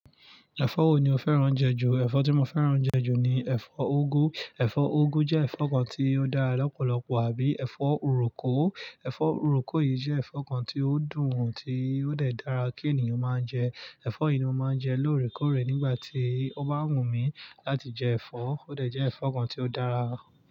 Ẹ̀fọ́ wo ni o fẹ́ràn jẹ ju? Ẹ̀fọ́ tí mo fẹ́ràn jẹ ju ni ẹ̀fọ́ úgú. Ẹ̀fọ́ úgú jẹ́ ẹ̀fọ́ kan tí ó dára lọ́pọ̀lọpọ̀ àbí ẹ̀fọ́ uròkò. Ẹ̀fọ́ uròkò yìí jẹ́ ẹ̀fọ́ kan tí ó dùn, tí ó dẹ̀ dára kí ènìyàn máa jẹ. Ẹ̀fọ́ yìí ni mo máa ń jẹ lóòrèkóòrè nígbà tí ó bá wù mí láti jẹ ẹ̀fọ́. Ó dẹ̀ jẹ́ ẹ̀fọ́ kan tí ó dára.